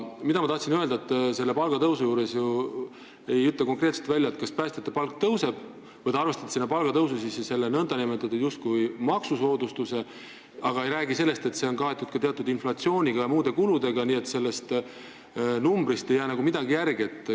Ma tahtsin öelda selle palgatõusu kohta, et te ei ütle konkreetselt välja, kas päästjate palk tõuseb või te arvestate palgatõusu sisse selle nn justkui maksusoodustuse, aga ei räägi sellest, et on ka teatud inflatsioon ja muud kulud, nii et sellest numbrist ei jää nagu midagi järele.